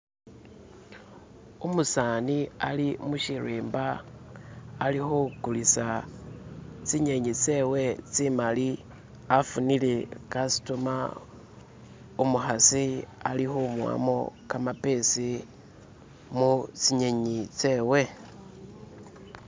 Umusani ali mushilimba alikugulisa zinyanyi zewe zimali afunile umugulako, umukasi ali kumuwamo kamapesi mu zinyanyi zewe.